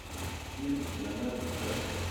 фильм с леонардо ди каприо